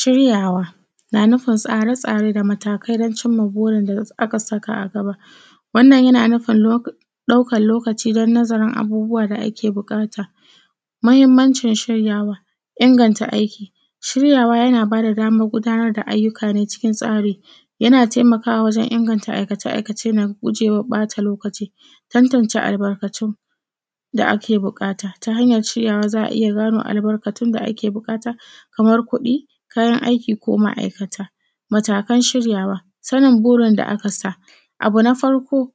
Shiryawa, na nufin tsara-tsarai da matakai don cimma burin da aka saka a gaba. Wannan yana nufin ɗaukan lokaci don nazarin abubuwa da ake buƙata. Mahimmancin shiryawa, inganta aiki: shiryawa yana bada damar gudanar da ayyuka na cikin tsari, yana taimakawa wajen inganta aikace-aikace na gujewa ɓata lokaci. Tatance albarkatu da ake buƙata ta hanyar shiryawa za a iya gano albarkatun da ake buƙata, kamar kuɗi, kayan aiki ko ma’aikata. Matakan shiryawa, sannin burin da aka sa Abu na farko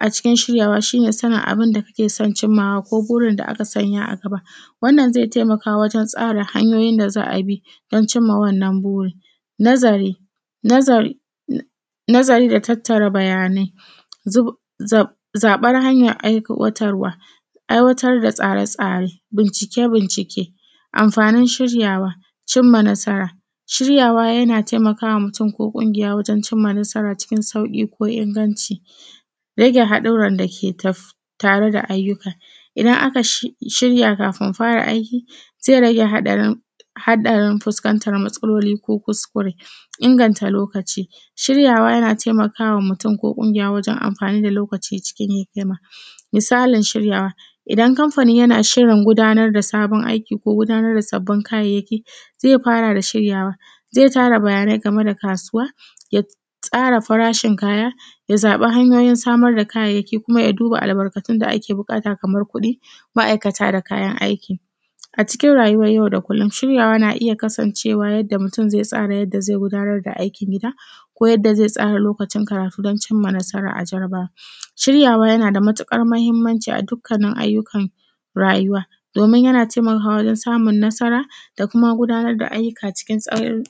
a cikin a cikin shiryawa, shi ne sanin abinda kake son cimmawa ko burin da aka sanya a gaba, wannan zai taimaka wajen tsara hanyoyin da za a bi don cimma wannan burin. Nazari: nazari da tattara bayanai, zaɓar hanyar aiwatarwa, aiwatar da tsare-tsare, bincike-bincike, amfanin shiryawa, cimma nasara. Shiryawa yana taimakama mutum ko ƙungiya wajen cimma nasara cikin sauƙi ko inganci. Rage haɗuran dake taf, tare da ayyuka: idan aka shirya kafin fara aiki ze rage haɗarin, haɗarin fuskanta matsaloli ko kuskure. Inganta lokaci: shiryawa yana taimakawa mutum ko ƙungiya wajen amfani da lokaci cikin hikima. Misalin shiryawa, idan kamfani yana shirin gudanar da sabon aiki ko gudanar da sabbin kayayyaki ze fara da shiryawa, zai tara bayanai game da kasuwa, ya tsara farashin kaya, ya zaɓin hanyoyi samar da kayayyaki kuma ya duba albarkatun da ake buƙata kamar, kuɗi, ma’aikata da kayan aiki. vA cikin rayuwar yau da kullum shiryawa na iya kasancewa yadda mutum ze tsara yadda zai gudanar da aikin gida, ko yadda zai tsara lokacin karatu don cimma nasara a jarabawa. Shiryawa yana da matuƙar mahimmanci a dukkanin ayyukan rayuwa, domin yana taimakawa wajen samun nasara da kuma gudanar da ayyuka cikin tsari.